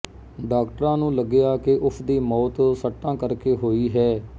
ਡਾਕਟਰਾਂ ਨੂੰ ਲੱਗਿਆ ਕਿ ਉਸ ਦੀ ਮੌਤ ਸੱਟਾਂ ਕਰਕੇ ਹੋਈ ਹੈ